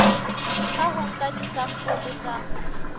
ka ho nka disampole tsa